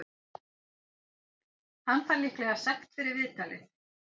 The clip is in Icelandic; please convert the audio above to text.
Hann fær líklega sekt fyrir viðtalið.